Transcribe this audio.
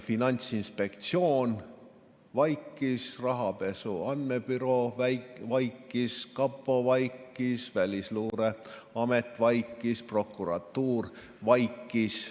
Finantsinspektsioon vaikis, Rahapesu Andmebüroo vaikis, kapo vaikis, Välisluureamet vaikis, prokuratuur vaikis.